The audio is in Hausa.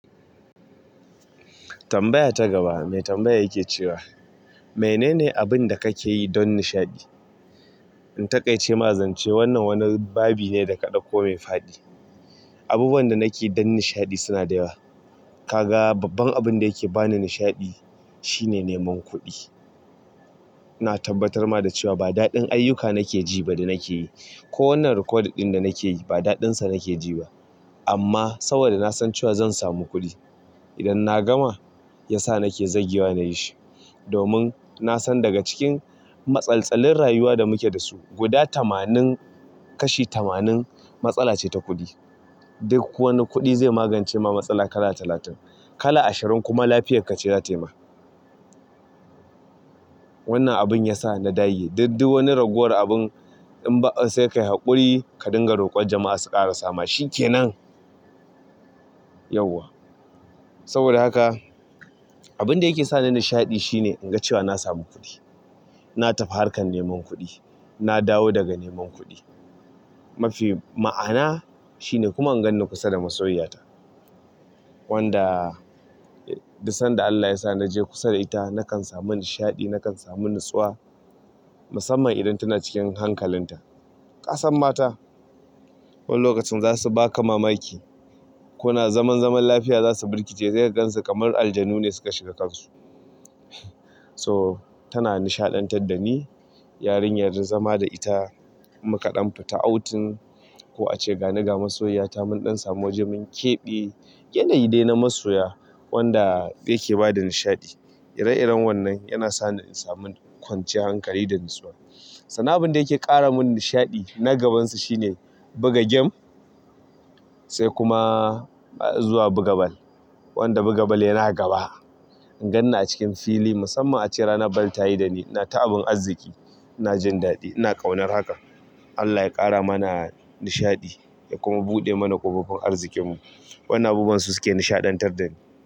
Tambaya ta gaba, mai tambaya yake cewa, "Menene abin da ka ke yi don nishaɗi?" In taƙaice ma zance wannan wani babi ne da ka ɗauko mai fa'di. Abubuwan da nake yi don nishaɗi suna da yawa. Kaga babban abin da yake ba ni nishaɗi shine neman kuɗi. Na tabbatar ma da cewa ba daɗin ayyuka nake ji ba da nake yi, ko wannan reƙodin ɗin da nake yi ba daɗinsa nake ji ba. Amma saboda na san cewa zan samu kuɗi idan na gama, ya sa nake zagewa na yi shi. Domin na san daga cikin matsaltalin rayuwa da muke da su guda tamanin kashi tamanin matsala ce ta kuɗi. Duk wani kuɗi zai magance ma matsala kala talatin, kala ashirin kuma lafiyar ka ce za ta yi ma. Wannan abin ya sa na dage. Duddu wani ragowar abun in ba sai ka yi haƙuri ka dinga roƙon jama'a su ƙara sama. Shin ke nan? Yauwa. Saboda haka abin da yake sa ni nishaɗi shine in ga cewa na samu kuɗi. Na tafi harkar neman kuɗi. Na dawo daga neman kuɗi. Mafi ma'ana shine kuma in ganni kusa da masoyiyata. Wanda duk sanda ALLAH yasa naje kusa da ita nakan samu nishaɗi nakan samu nutsuwa musamman idan tanacikin hankalinta. Kasan mata wani lokacin za su baka mamaki. Kuna zaman zaman lafiya za su birkice, sai kagan su kamar aljanu ne suka shiga kansu. So tana nishaɗanta da ni. Yarin zama da ita, muƙaɗan ta, fitta'autin, ko a ce gani ga masoyiyata, mun ɗan samu wajen mun keɓe. Yanayi dai na masoya wanda yake ba da nishaɗi. Ire-iren wannan yana sa ni in samu kwanciyar hankali da natsuwa. Sannan abin da yake ƙara mun nishaɗi na gabansu shine buga gem sai kuma zuwa buga ball. Wanda buga bal yana gaba. In ganni a cikin fili musamman a ce rana ban tayi da ni, na taɓa abin arziki. Na jin daɗi. Ina ƙaunar haka. ALLAH ya ƙara mana nishaɗi ya kuma buɗe mana ƙofofin arzikinmu. Wannan abubuwan su suke nishaɗantar da ni.